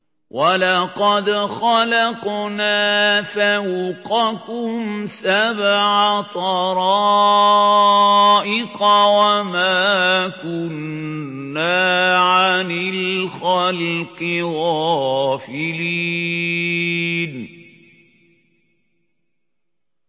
وَلَقَدْ خَلَقْنَا فَوْقَكُمْ سَبْعَ طَرَائِقَ وَمَا كُنَّا عَنِ الْخَلْقِ غَافِلِينَ